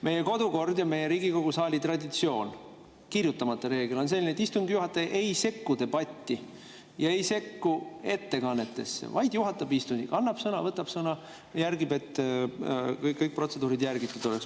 Meie kodukord ja Riigikogu saali traditsioon, kirjutamata reegel on selline, et istungi juhataja ei sekku debatti, ei sekku ettekannetesse, vaid juhatab istungit: annab sõna, võtab sõna, jälgib, et kõiki protseduure oleks järgitud.